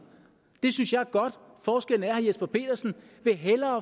det synes jeg er godt forskellen er at herre jesper petersen hellere